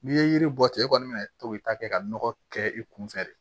N'i ye yiri bɔ ten i kɔni bɛna to k'i ta kɛ ka nɔgɔ kɛ i kunfɛ de